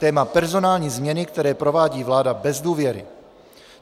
Téma: Personální změny, které provádí vláda bez důvěry.